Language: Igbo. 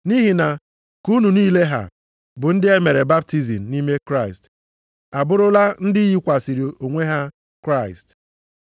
Nʼihi na ka unu niile ha, bụ ndị e mere baptizim nʼime Kraịst, abụrụla ndị yikwasịrị onwe ha Kraịst.